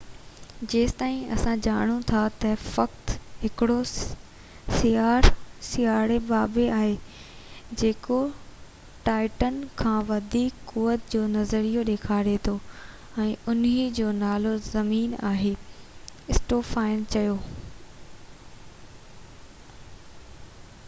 جيستائين اسان ڄاڻون ٿا ته فقط هڪڙو سياروي باڊي آهي جيڪو ٽائٽان کان وڌيڪ قوعت جونظريو ڏيکاري ٿو ۽ ان جو نالو زمين آهي اسٽوفان چيو